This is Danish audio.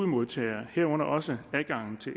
modtagere herunder også adgangen til